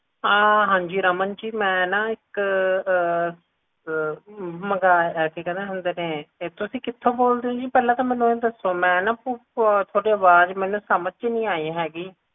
ਅਮ ਹਾਂਜੀ ਰਮਨ ਜੀ ਮੈਂ ਨਾ ਇੱਕ ਅਮ ਮੰਗਾਇਆ ਸੀ ਕਿ ਕਹਿੰਦੇ ਹੁੰਦੇ ਨੇ ਤੁਸੀਂ ਕਿਥੋਂ ਬੋਲਦੇ ਊ ਜੀ ਪਹਿਲਾਂ ਤਾਂ ਮੈਨੂੰ ਇਹ ਦੱਸੋ ਮੈਂ ਨਾ ਤੁਹਾਡੀ ਅਵਾਜ ਮੈਨੂੰ ਸਮਾਜ ਜੀ ਨੀ ਆਈ ਹੈਗੀ